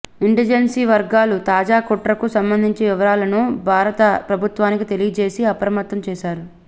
ఇంటెలిజెన్సీ వర్గాలు తాజా కుట్రకు సంబంధించిన వివరాలను భారత ప్రభుత్వానికి తెలియజేసి అప్రమత్తం చేశారు